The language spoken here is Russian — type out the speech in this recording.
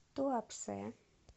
туапсе